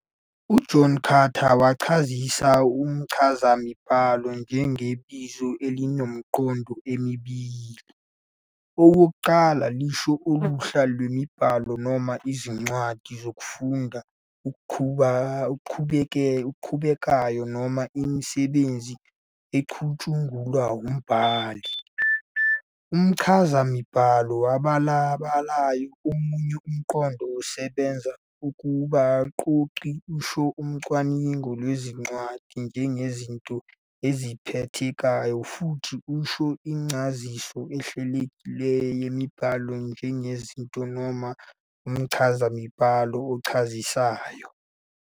uJohn Carter wachazisa umchazamibhalo njengebizo elinemiqondo emibili- owokuqala, lisho uluhla lwemibhalo noma izincwadi zokufunda okuqhubekayo noma imisebenzi ecutshungulwa umbhali, umchazamibhalo obalabalayo, omunye umqondo, osebenza kubaqoqi, usho "ucwaningo lwezincwadi njengezinto eziphathekayo," futhi usho "incaziso ehlelekileyo yemibhalo njengezinto", noma umchazamibhalo ochazisayo.